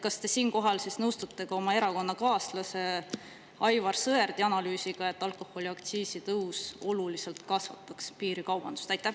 Kas te siinkohal nõustute ka oma erakonnakaaslase Aivar Sõerdi analüüsiga, et alkoholiaktsiisi tõus oluliselt kasvataks piirikaubandust?